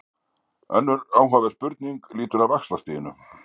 Önnur áhugaverð spurning lýtur að vaxtastiginu.